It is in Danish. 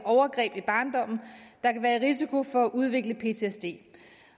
overgreb i barndommen der kan være i risiko for at udvikle ptsd